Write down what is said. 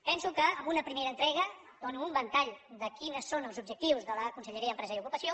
penso que amb una primera entrega dono un ventall de quins són els objectius de la conselleria d’empresa i ocupació